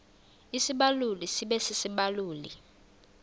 isibaluli sibe sisibaluli